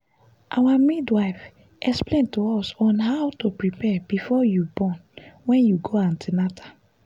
our midwife explain to us on how to prepare before you born wen i go an ten atal